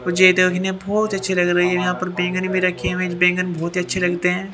मुझे ये देखने बहुत अच्छे लग रही है यहां पर बैंगन भी रखे हुए हैं बैंगन बहुत ही अच्छे लगते हैं ।